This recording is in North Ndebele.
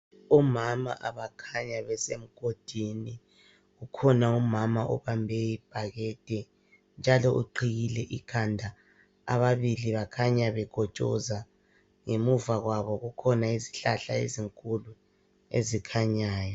Omama abakhanya besemgodini kukhona umama obambe ibhakede njalo uqhiyile ikhanda, ababili bakhanya bekotshoza ngemuva kwabo kukhona izihlahla ezinkulu ezikhanyayo.